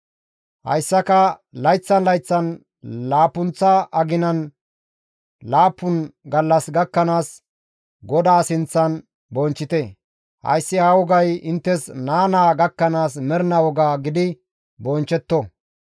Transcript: Hayssaka layththan layththan laappunththa aginan laappun gallas gakkanaas GODAA sinththan bonchchite; hayssi ha wogay inttes naa naa gakkanaas mernaa woga gidi bonchchetto.